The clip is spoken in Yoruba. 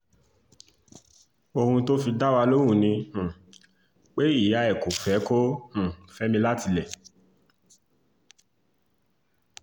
ohun tó fi dá wa lóhùn ni um pé ìyá ẹ̀ kò fẹ́ kó um fẹ́ mi látilé